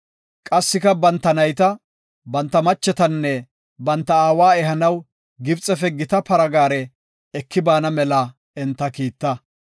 Qassika, banta nayta, banta machetanne banta aawa ehanaw Gibxefe gita para gaare eki baana mela enta kiita.